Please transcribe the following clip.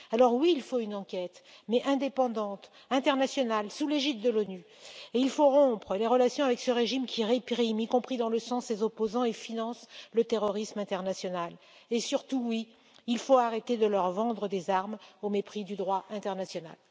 Oui, il faut une enquête, mais indépendante, internationale, sous l'égide de l'ONU et il faut rompre les relations avec ce régime qui réprime, y compris dans le sang, ses opposants et finance le terrorisme international et, surtout, oui, il faut arrêter de leur vendre des armes au mépris du droit international.